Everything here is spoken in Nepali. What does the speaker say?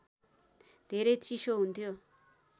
धेरै चिसो हुन्थ्यो